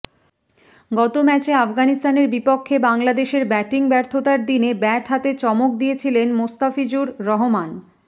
গত ম্যাচে আফগানিস্তানের বিপক্ষে বাংলাদেশের ব্যাটিং ব্যর্থতার দিনে ব্যাট হাতে চমক দেখিয়েছিলেন মোস্তাফিজুর রহমান